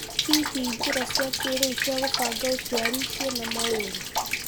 Hihi njĩra cia kĩrĩu cia gũbanga ũciari ciena maũru?